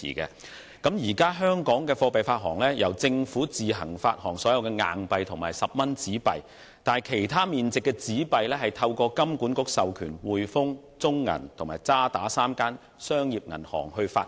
香港現時的貨幣發行方式是，由政府自行發行所有硬幣和10元紙幣，但其他面值的紙幣是透過金管局授權香港上海滙豐銀行、中國銀行有限公司和渣打銀行香港3間商業銀行發行。